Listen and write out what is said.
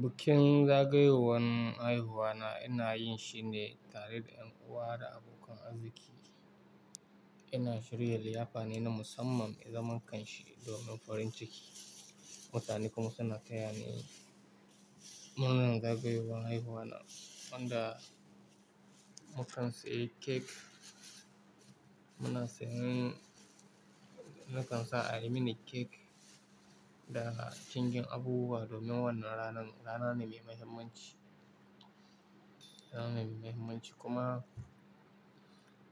Bikin zagayowan haihuwa na ina yin shi ne tare da yan uwa da abokan arziki. Ina shirya liyafa ne na musamman, mai zaman kanshi domin farin ciki. Mutane kuma suna taya ni murnar zagayowan haihuwa na. Wanda mukan sayi kek, muna sayan, nakan sa a yi mini kek da cikin abubuwa domin wannan ranan rana ne mai muhimmanci, rana mai muhimmanci kuma